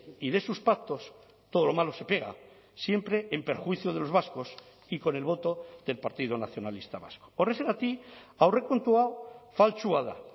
y de sus pactos todo lo malo se pega siempre en perjuicio de los vascos y con el voto del partido nacionalista vasco horrexegatik aurrekontua faltsua da